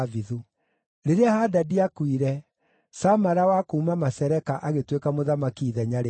Rĩrĩa Hadadi aakuire, Samala wa kuuma Masereka agĩtuĩka mũthamaki ithenya rĩake.